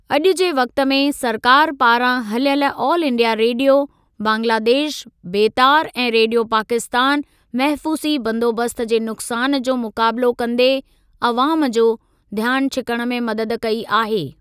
अॼु जे वक़्ति में, सरकार पारां हलियल ऑल इंडिया रेडियो, बांग्लादेश बेतार ऐं रेडियो पाकिस्तान महफूज़ी बंदोबस्‍त जे नुकसान जो मुकाबिलो कंदे अवाम जो ध्‍यानु छिकण में मदद कई आहे।